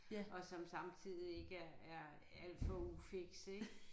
Og som samtidig ikke er er alt for ufikse ik